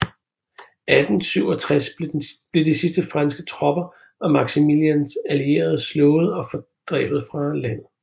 I 1867 blev de sidste franske tropper og Maximilians allierede slået og fordrevet fra landet